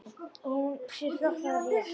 Og hún sér fljótt að það er rétt.